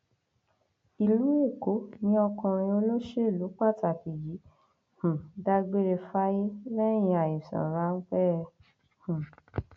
ìlú èkó ni ọkùnrin olóṣèlú pàtàkì yìí ti um dágbére fáyé lẹyìn àìsàn ráńpẹ um